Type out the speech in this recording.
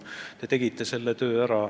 Te tegite selle töö ära.